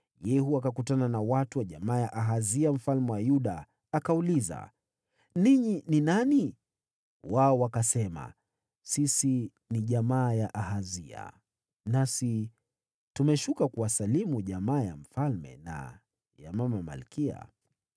Yehu akakutana na watu wa jamaa ya Ahazia mfalme wa Yuda, akauliza, “Ninyi ni nani?” Wao wakasema, “Sisi ni jamaa ya Ahazia, nasi tumeshuka kuwasalimu jamaa ya mfalme na ya mama malkia.”